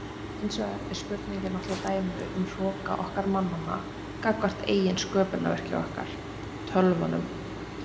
Hins vegar er spurningin náttúrlega dæmi um hroka okkar mannanna gagnvart eigin sköpunarverki okkar, tölvunum.